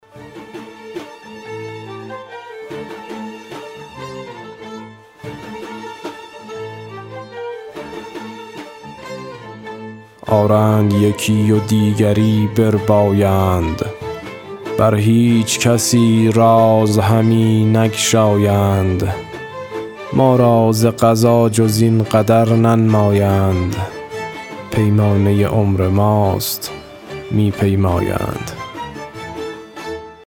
آرند یکی و دیگری بربایند بر هیچ کسی راز همی نگشایند ما را ز قضا جز این قدر ننمایند پیمانه عمر ماست می پیمایند